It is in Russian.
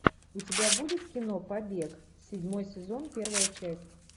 у тебя будет кино побег седьмой сезон первая часть